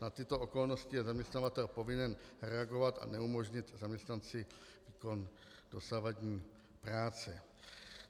Na tyto okolnosti je zaměstnavatel povinen reagovat a neumožnit zaměstnanci výkon dosavadní práce.